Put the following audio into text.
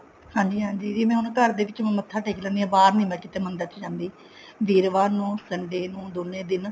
ਹਾਂਜੀ ਹਾਂਜੀ ਇਹ ਨਾ ਮੈਂ ਘਰ ਦੇ ਵਿੱਚ ਮੱਥਾ ਟੇਕ ਲੈਂਦੀ ਹਾਂ ਘਰ ਦੇ ਬਾਹਰ ਨੀ ਮੈਂ ਕਿਤੇ ਮੰਦਿਰ ਚ ਜਾਂਦੀ ਵੀਰਵਾਰ ਨੂੰ Sunday ਨੂੰ ਦੋਨੇ ਦਿਨ